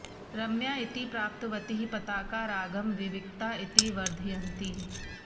रम्या इति प्राप्तवतीः पताका रागं विविक्ता इति वर्धयन्तीः